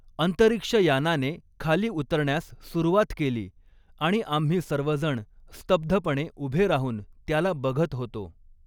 अंतरिक्ष यानाने खाली उतरण्यास सुरवात केली आणि आम्ही सर्वजण स्तब्धपणे उभे राहुन त्याला बघत होतो.